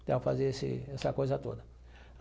Então, eu fazia esse essa coisa toda.